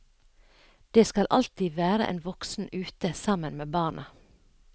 Det skal alltid være en voksen ute sammen med barna.